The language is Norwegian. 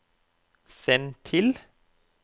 send til